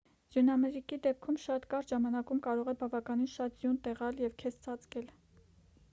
ձյունամրրիկի դեպքում շատ կարճ ժամանակում կարող է բավականին շատ ձյուն տեղալ և քեզ ծածկել